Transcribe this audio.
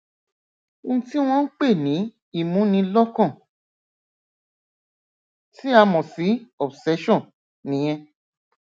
ohun tí wọn ń pè ní ìmúnilọkàn tí a mọ sí obsession nìyẹn